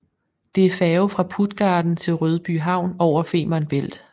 Det er færge fra Puttgarden til Rødbyhavn over Femern Bælt